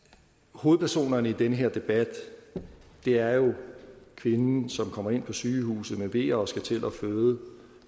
hovedpersonerne i den her debat er jo kvinden som kommer ind på sygehuset med veer og skal til at føde